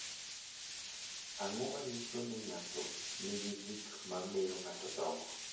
Ang’o ma nyiso ni ng’ato nigi gik ma miyo ng’ato dongo?